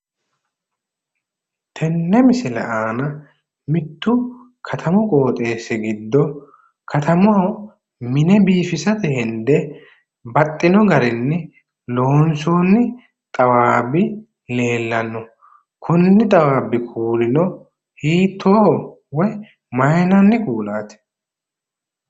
Tenne misile aana mittu katamu qooxeessi giddo katamaho mine biifisate hende baxxino garinni loonsoonni xawaabbi leellanno. Konni xawwaabbi kuulino hiittooho woyi mayinanni kuulaati?